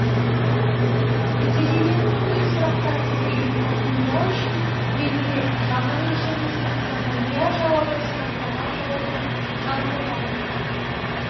нәтижелерін өндеу сұрақтар тізбегін қорытындылау үшін белгілер жалған өлшемі сұрақтарға иә жауабы сұрақтарға жауабы жалпы балл